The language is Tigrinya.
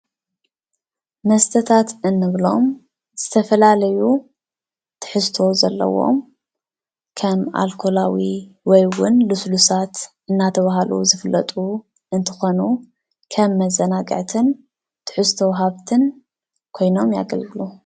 መስተታት እንብሎም ዝተፈላለዩ ትሕዝቶ ዘለዎም ከም አልኮላዊ ወይ ዉን ልስሉሳት እናተብሃሉ ዝፍለጡ እንትኾኑ ከም መዘናግዕትን ትሕዝቶ ወሃብትን ኮይኖም የገልግሉ ።